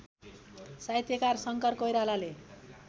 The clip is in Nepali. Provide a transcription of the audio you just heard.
साहित्यकार शङ्कर कोइरालाले